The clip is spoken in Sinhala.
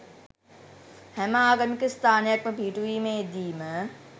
හැම ආගමික ස්ථානයක්ම පිහිටුවීමේ දීම